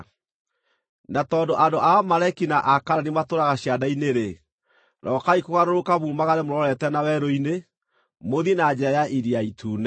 Na tondũ andũ a Amaleki na a Kaanani matũũraga cianda-inĩ-rĩ, rokai kũgarũrũka mumagare mũrorete na werũ-inĩ, mũthiĩ na njĩra ya Iria Itune.”